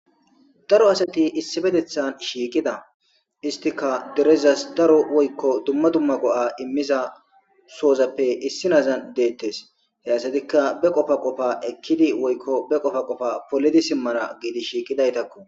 daro asati issi betethan shiiqida istika derezas daro woykko dumma dumma go7a immiza soozappe issi nazan deettes he asatikka be qofa qofa ekkidi woykko be qofa qofa polidi simmana giidi shiiqidaytakku